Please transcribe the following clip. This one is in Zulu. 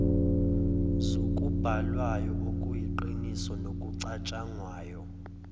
zokubhalwayo okuyiqiniso nokucatshangwayo